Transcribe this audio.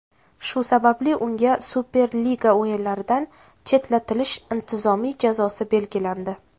Shu sababli unga Superliga o‘yinlaridan chetlatilish intizomiy jazosi belgilandi.